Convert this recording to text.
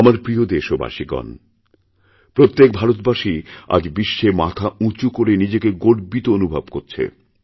আমার প্রিয় দেশবাসীগণ প্রত্যেকভারতবাসী আজ বিশ্বে মাথা উঁচু করে নিজেকে গর্বিত অনুভব করছে